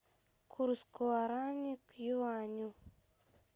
курс гуарани к юаню